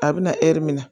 A bɛ na hɛri min na